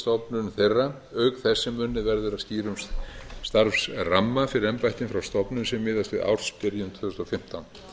stofnun þeirra auk þess sem unnið verður að skýrum starfsramma fyrir embættin frá stofnun sem miðast við ársbyrjun tvö þúsund og fimmtán